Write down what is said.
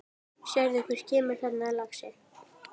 Sérðu hver kemur þarna, lagsi?